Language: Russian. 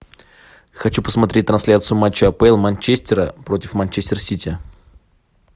хочу посмотреть трансляцию матча апл манчестера против манчестер сити